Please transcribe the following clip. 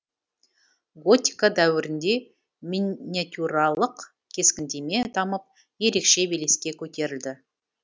готика дәуірінде миниатюралық кескіндеме дамып ерекше белеске көтерілді